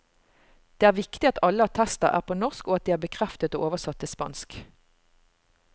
Det er viktig at alle attester er på norsk, at de er bekreftet og oversatt til spansk.